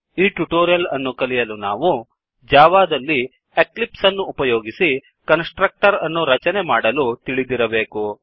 ಈ ಟ್ಯುಟೋರಿಯಲ್ ಅನ್ನು ಕಲಿಯಲು ನಾವು ಜಾವಾದಲ್ಲಿ ಎಕ್ಲಿಪ್ಸ್ ಅನ್ನು ಉಪಯೋಗಿಸಿ ಕನ್ಸ್ ಟ್ರಕ್ಟರ್ ಅನ್ನು ರಚನೆ ಮಾಡಲು ತಿಳಿದಿರಬೇಕು